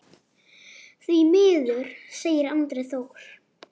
Því miður, segir Andri Þór.